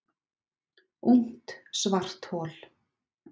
Ungt svarthol